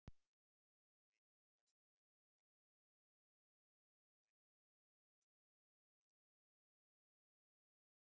Greining fæst með ræktun bakteríunnar úr blóði, mænuvökva, fósturvatni eða legköku.